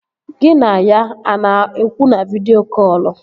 Gị na ya a na-ekwu na vidịo kọlụ?